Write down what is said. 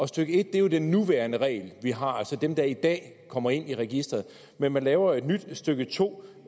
stykke en er jo den nuværende regel vi har som dem der i dag kommer ind i registreret men man laver jo et nyt stykke to